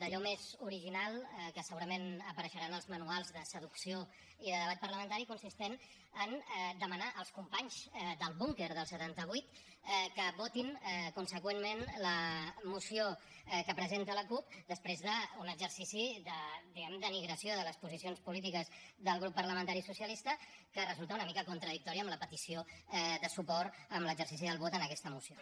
d’allò més original que segurament apareixerà en els manuals de seducció i de debat parlamentari consistent en demanar als companys del búnquer del setanta vuit que votin conseqüentment la moció que presenta la cup després d’un exercici de diguem ne denigració de les posicions polítiques del grup parlamentari socialista que resultat una mica contradictòria amb la petició de suport en l’exercici del vot en aquesta moció